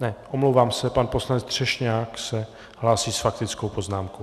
Ne, omlouvám se, pan poslanec Třešňák se hlásí s faktickou poznámkou.